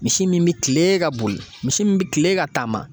Misi min bi kilen ka boli. Misi min be kilen ka taama.